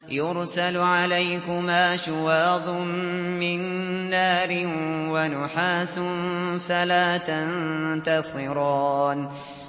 يُرْسَلُ عَلَيْكُمَا شُوَاظٌ مِّن نَّارٍ وَنُحَاسٌ فَلَا تَنتَصِرَانِ